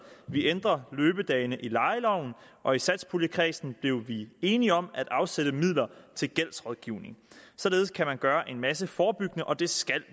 vi ændrer løbedagene i lejeloven og i satspuljekredsen blev vi enige om at afsætte midler til gældsrådgivning således kan man gøre en masse forebyggende og det skal